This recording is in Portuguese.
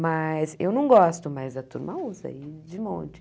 Mas eu não gosto, mas a turma usa aí de monte.